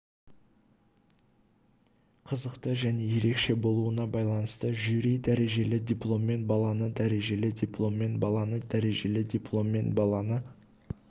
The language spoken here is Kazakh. қызықты және ерекше болуына байланысты жюри дәрежелі дипломмен баланы дәрежелі дипломмен баланы дәрежелі дипломмен баланы